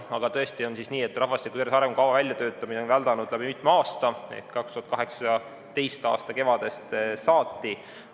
Aga tõesti on nii, et rahvastiku tervise arengukava väljatöötamine on väldanud läbi mitme aasta ehk 2018. aasta kevadest saati.